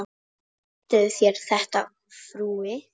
Misstuð þér þetta, frú!